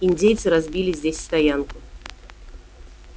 индейцы разбили здесь стоянку